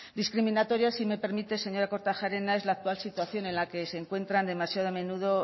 discriminatoria si me permite señora kortajarena es la actual situación en la que se encuentran demasiado a menudo